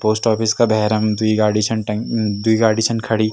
Post office का भैरम द्वि गाडी छन टंग द्वि गाडी छन खड़ीं।